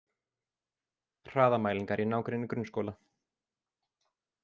Hraðamælingar í nágrenni grunnskóla